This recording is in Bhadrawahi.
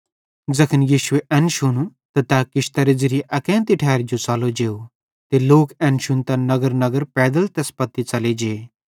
ज़ैखन यीशुए एन शुनू त तै किश्तरे ज़िरिये अकेन्ती ठैरी च़लो जेव ते लोक एन शुन्तां नगर नगरेरे पैदल तैस पत्ती च़ले जे